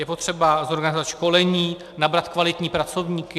Je potřeba zorganizovat školení, nabrat kvalitní pracovníky.